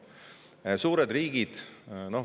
Suured riigid panustavad.